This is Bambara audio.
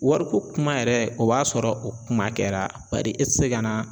Wariko kuma yɛrɛ o b'a sɔrɔ o kuma kɛra. Bari e ti se ka na